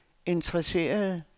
interesserede